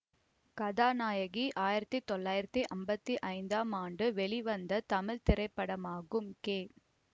கதாநாயகி ஆயிரத்தி தொள்ளாயிரத்தி அம்பத்தி ஐந்தாம் ஆண்டு வெளிவந்த தமிழ் திரைப்படமாகும் கே